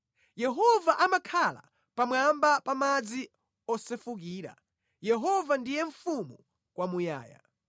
Yehova amakhala pamwamba pa madzi osefukira, Yehova ndiye mfumu kwamuyaya.